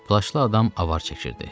Plaşlı adam avar çəkirdi.